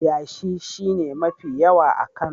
Yashi shi ne mafi yawa a Kano.